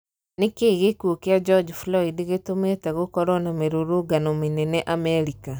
Nikii gikuo kia George Floyd gitũmite gũkorwo na mirũrũngano manene Amerika?